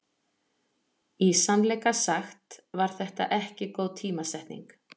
Í sannleika sagt var þetta ekki góð tímasetning.